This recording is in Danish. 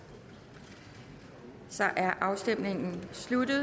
så er afstemningen sluttet